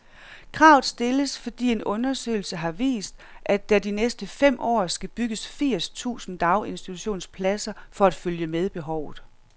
Kravet stilles, fordi en undersøgelse har vist, at der de næste fem år skal bygges firs tusind daginstitutionspladser for at følge med behovet.